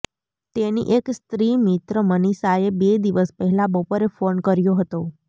તેની એક સ્ત્રી મિત્ર મનીષાએ બે દિવસ પહેલા બપોરે ફોન કર્યો હતો